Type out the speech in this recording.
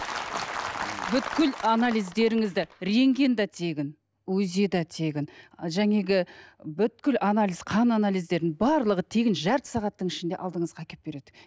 анализдеріңізді рентген де тегін узи да тегін жаңағы анализ қан анализдеріңіз барлығы тегін жарты сағаттың ішінде алдыңызға әкеліп береді